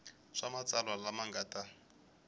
swa matsalwa lama nga ta